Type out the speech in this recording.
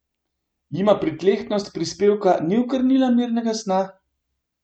Jima pritlehnost prispevka ni okrnila mirnega sna?